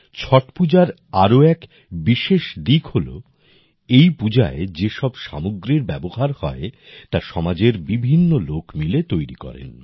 ছট পূজার আর এক বিশেষ দিক হল যে এই পূজায় যে সব সামগ্রীর ব্যবহার হয় তা সমাজের বিভিন্ন লোক মিলে তৈরি করেন